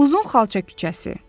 Uzun xalça küçəsi.